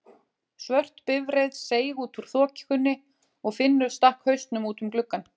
Svört bifreið seig út úr þokunni og Finnur stakk hausnum út um gluggann.